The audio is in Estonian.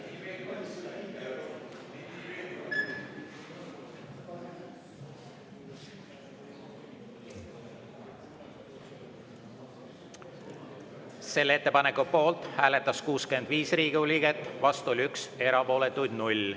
Selle poolt hääletas 65 Riigikogu liiget, vastu 1, erapooletuid on 0.